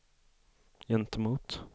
gentemot